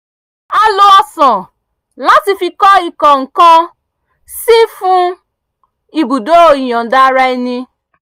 a lo ọ̀sán láti fi kọ́ ìkó-nǹkan-sí fún ibùdó ìyọ̀nda-ara-ẹni